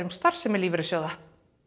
starfsemi lífeyrissjóða